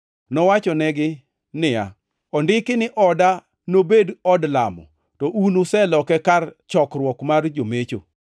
Nowachonegi niya, “Ondiki ni, ‘Oda nobed od lamo;’ + 19:46 \+xt Isa 56:7\+xt* to un to useloke ‘kar chokruok mar jomecho.’ + 19:46 \+xt Jer 7:11\+xt* ”